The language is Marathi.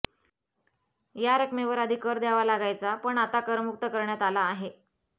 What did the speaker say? या रक्मकेवर आधी कर द्यावा लागायचा पण आता करमुक्त करण्यात आला आहे